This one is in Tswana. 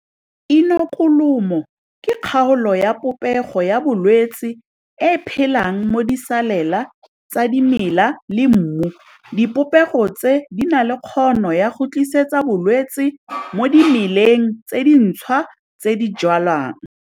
Inokulumo ke kgaolo ya popego ya bolwetse e e phelang mo disalela tsa dimela le mmu. Dipopego tse di na le kgono ya go tlisetsa bolwetse mo dimeleng tse dintshwa tse di jwalwang.